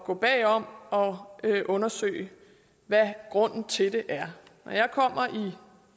gå bag om og undersøge hvad grunden til det er